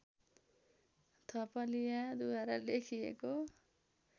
थपलियाद्वारा लेखिएको